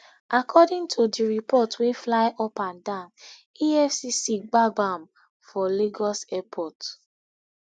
according to di report wey fly upandan efcc gbab am for lagos airport